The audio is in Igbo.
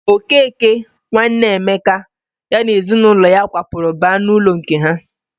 Okeke, nwanne Emeka, ya na ezinụlọ ya kwapụrụ baa n'ụlọ nke ha.